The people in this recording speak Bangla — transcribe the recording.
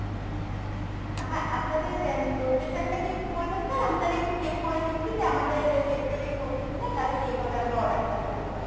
হ্যাঁ আপনাদের location টা কি একটু বলবেন sir আমি তালে একটু check করে নিচ্ছি যে আমাদের territory র মধ্যে কিনা তালে সেই ভাবে আমরা order টা নিতে পারবো।